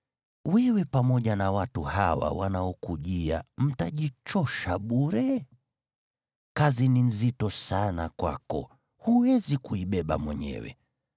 Wewe pamoja na watu hawa wanaokujia mtajichosha bure. Kazi ni nzito sana kwako, huwezi kuibeba mwenyewe.